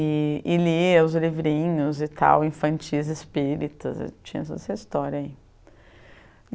e e lia os livrinhos e tal, infantis, espíritas, tinha toda essa história aí.